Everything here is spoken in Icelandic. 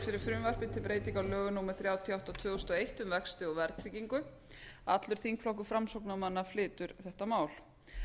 fyrir frumvarpi til breytinga á lögum númer þrjátíu og átta tvö þúsund og eitt um vexti og verðtryggingu allur þingflokkur framsóknarmanna flytur þetta mál